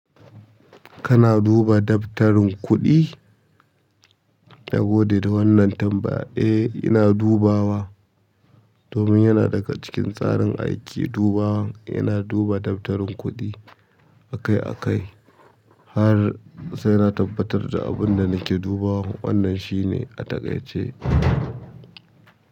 Kana duba daftarin kuɗi? Na gode da wannan tambaya de. E, ina dubawa. Domin yana daga cikin tsarin aiki dubawan, yana duba daftarin kuɗi akai-akai har sai na tabbatar da abin da nake dubawan wannan shine a takaice.